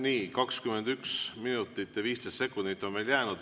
Nii, 21 minutit ja 15 sekundit on veel jäänud.